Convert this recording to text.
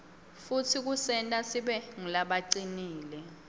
futsi kusenta sibe ngulabacinile